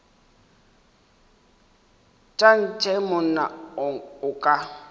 tša ntshe monna o ka